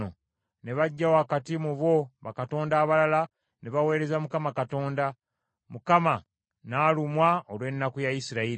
Ne baggya wakati mu bo bakatonda abalala, ne baweereza Mukama Katonda. Mukama n’alumwa olw’ennaku ya Isirayiri.”